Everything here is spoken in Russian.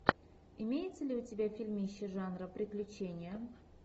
имеется ли у тебя фильмище жанра приключения